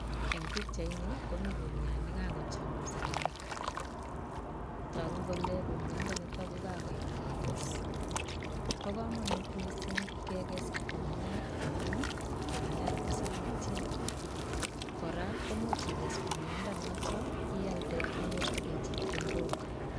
En pichaini komi kumiat negokochop segemik togu kole kumyat nitok kokayam kekess bo komonut missing Kekes kumyat amun ii kumyat ko sakitia kora komuch ikes kumyat ndo notok ialde inyorjikee chepkondok